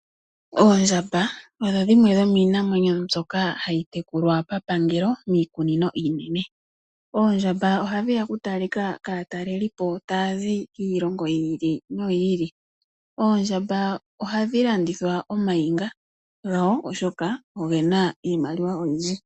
Oondjamba odho dhimwe dhomiinamwenyo mbyoka hayi tekulwa pa pangelo miikunino iinene. Oondjamba ohadhi ya oku talika kaatalelipo taya zi kiilongo yi ili noyi ili. Oondjamba ohadhi landitha omainga gawo oshoka ogena iimaliwa oyindji.